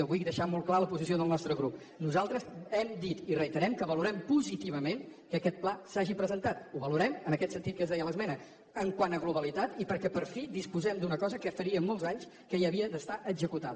vull deixar molt clara la posició del nostre grup nosaltres hem dit i reiterem que valorem positivament que aquest pla s’hagi presentat ho valorem en aquest sentit que es deia a l’esmena quant a globalitat i perquè per fi disposem d’una cosa que faria molts anys que hauria d’estar executada